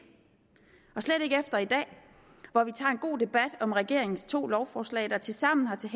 og slet ikke efter i dag hvor vi tager en god debat om regeringens to lovforslag der tilsammen har til